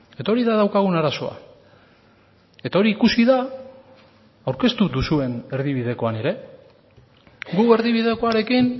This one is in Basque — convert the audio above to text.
eta hori da daukagun arazoa eta hori ikusi da aurkeztu duzuen erdibidekoan ere gu erdibidekoarekin